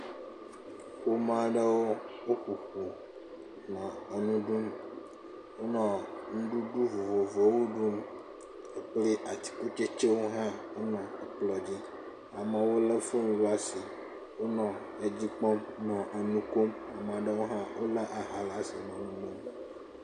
Ƒome aɖewo wo ƒoƒu nɔ enu ɖum. Wonɔ nuɖuɖu vovovowo ɖum kple atikutsetsewo hã wonɔ kplɔ dzi. Ame aɖewo le foni ɖe asi wonɔ edzi kpɔm nɔ enu kom, ame aɖewo hã wo le aha ɖe asi.